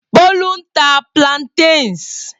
Bolu ń ta plantains.